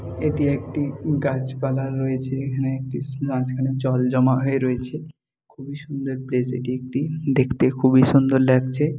এটি একটি গাছপালা রয়েছে এখানে একটি মাঝখানে জল জমা হয়ে রয়েছে খুবই সুন্দর প্লেস এটি একটি। দেখতে খুবই সুন্দর লাগছে।